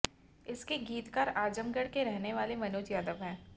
इसके गीतकार आजमगढ़ के रहने वाले मनोज यादव हैं